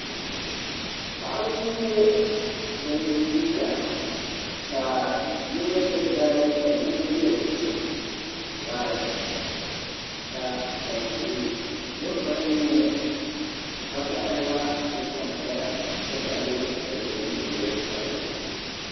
Paɣaba n nyɛ bin chana ka yino ʒiri dari ka yino ʒiri vari ka kpukpal tia din vari nyɛ vakaɣili la kuli sansaya n ti pahi loori piɛlli ni loori sabinli